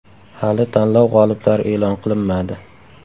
Hali tanlov g‘oliblari e’lon qilinmadi.